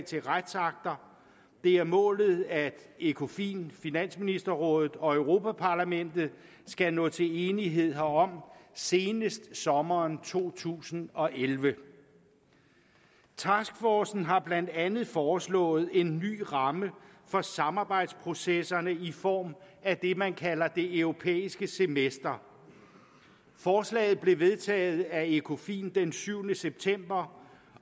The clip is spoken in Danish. til retsakter det er målet at ecofin finansministerrådet og europa parlamentet skal nå til enighed herom senest i sommeren to tusind og elleve taskforcen har blandt andet foreslået en ny ramme for samarbejdsprocesserne i form af det man kalder det europæiske semester forslaget blev vedtaget af ecofin den syvende september